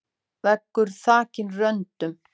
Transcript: Veggur þakinn röndum.